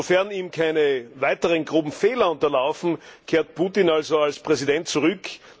Sofern ihm keine weiteren groben Fehler unterlaufen, kehrt Putin also als Präsident zurück.